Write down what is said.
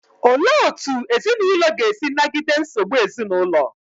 Olee otú ezinụlọ ga-esi nagide nsogbu ezinụlọ?